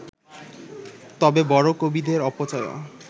তবে বড় কবিদের অপচয়ও